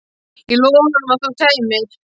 Ég lofaði honum að þú kæmir!